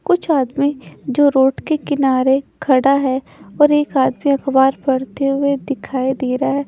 कुछ आदमी जो रोड के किनारे खड़ा है और एक आदमी अखबार पढ़ते हुए दिखाई दे रहा है।